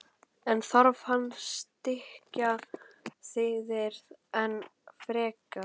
En þarf hann að styrkja liðið enn frekar?